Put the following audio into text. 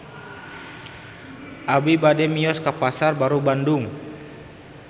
Abi bade mios ka Pasar Baru Bandung